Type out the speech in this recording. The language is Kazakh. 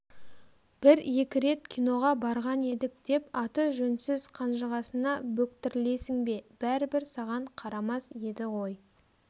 бір екі рет киноға барған едік деп аты жөнсіз қанжығасына бөктірілесің бе бәрібір саған қарамас еді ғой